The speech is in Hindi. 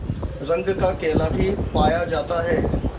रंग का केला भी पाया जाता है